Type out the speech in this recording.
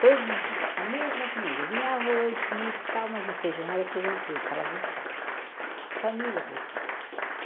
Todos os dias, a mesma comida, vinha arroz, bife, tal, mas o feijão era feijão preto, ela gostava, família gostava.